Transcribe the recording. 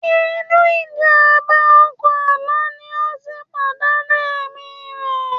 Inú ìjàmbá ọkọ̀ àná ni ó ti pàdánù ẹ̀mí rẹ̀